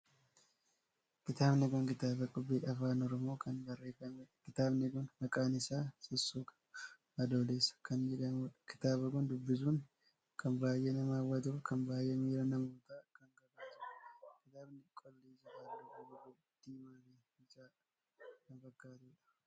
Kitaabni kun kitaaba qubee Afaan Oromoo kan barreeffameedha. kitaabni kun maqaan isaa sussuka adoolessaa kan jedhamuudha. Kitaaba kan dubbisuun kan baay'ee nama hawwatu fi kan baay'ee miira namootaa kan kakaasuudha. kitaabni qolli isaa halluu buburree diimaa fi bicaa kan fakkaatuudha.